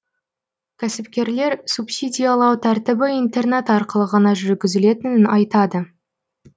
кәсіпкерлер субсидиялау тәртібі интернет арқылы ғана жүргізілетінін айтады